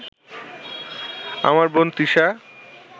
আমার বোন তিশা